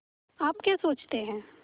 आप क्या सोचते हैं